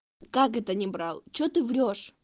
как это не брал что ты врёшь